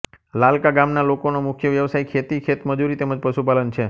લાલકા ગામના લોકોનો મુખ્ય વ્યવસાય ખેતી ખેતમજૂરી તેમ જ પશુપાલન છે